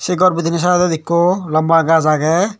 se gor denendi sideot ekko lamba gach agey.